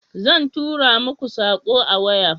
Zan tura mako sako a waya